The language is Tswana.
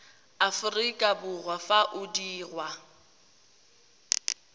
aforika borwa fa o dirwa